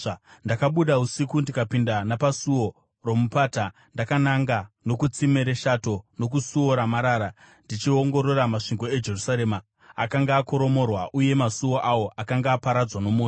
Ndakabuda usiku ndikapinda napaSuo roMupata ndakananga nokuTsime reShato nokuSuo raMarara, ndichiongorora masvingo eJerusarema, akanga akoromorwa, uye masuo awo, akanga aparadzwa nomoto.